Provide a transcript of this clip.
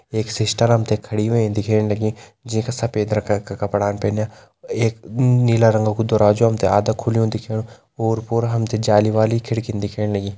एक सिस्टर हम ते खड़ी होईं दिखेण लगीं जै का सफ़ेद रंगा का कपड़ान पैन्या एक नीला रंगा कु दराजु हम ते आधा खुलयूं दिखेणु ओर पोर हम ते जाली वाली खिड़कीन दिखेण लगीं।